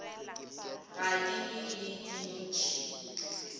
ga di be le dintšhi